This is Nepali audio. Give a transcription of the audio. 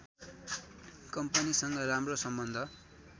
कम्पनीसँग राम्रो सम्बन्ध